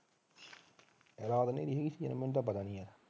ਰਾਤ ਸੀ ਮੈਨੂੰ ਤਾਂ ਪਤਾ ਨੀ